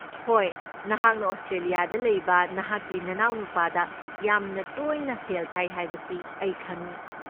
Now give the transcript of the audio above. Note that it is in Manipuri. ꯍꯣꯏ, ꯅꯍꯥꯛꯅ ꯑꯣꯁꯇ꯭ꯔꯦꯂꯤꯌꯥꯗ ꯂꯩꯕ ꯅꯍꯥꯛꯀꯤ ꯅꯅꯥꯎꯅꯨꯄꯥꯗ ꯌꯥꯝꯅ ꯇꯣꯏꯅ ꯁꯦꯜ ꯊꯥꯏ ꯍꯥꯏꯕꯁꯤ ꯑꯩ ꯈꯪꯢ꯫